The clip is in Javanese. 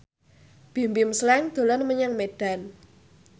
Bimbim Slank dolan menyang Medan